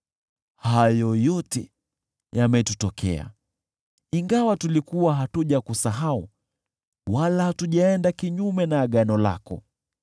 Hayo yote yametutokea, ingawa tulikuwa hatujakusahau wala hatujaenda kinyume na agano lako.